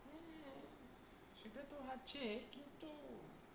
হ্যাঁ, সেটা তো আছে কিন্তু